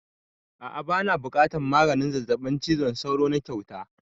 A'a bana buƙatan maganin zazzabin cizon sauro na kyauta